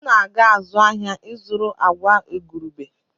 M na-aga azụ ahịa ịzụrụ agwa igurube.